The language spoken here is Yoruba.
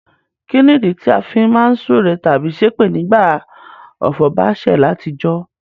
Kínìdí ti a fi má n súre tábí sépè nígbàtí ọ̀fọ̀ ba sẹ̀ látijọ́?